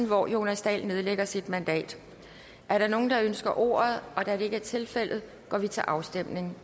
hvor jonas dahl nedlægger sit mandat er der nogen der ønsker ordet da det ikke er tilfældet går vi til afstemning